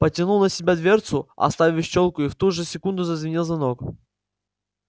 потянул на себя дверцу оставив щёлку и в ту же секунду зазвенел звонок